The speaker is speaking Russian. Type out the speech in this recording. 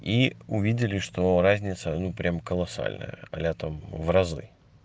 и увидели что разница ну прям колоссальная летом в разы